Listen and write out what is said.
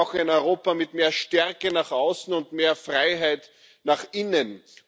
Wir brauchen ein Europa mit mehr Stärke nach außen und mehr Freiheit nach innen.